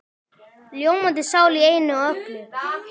Ljómandi sál í einu og öllu.